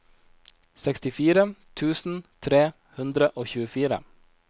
sekstifire tusen tre hundre og tjuefire